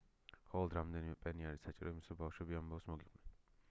მხოლოდ რამდენიმე პენი არის საჭირო იმისთვის რომ ბავშვები ამბავს მოგიყვნენ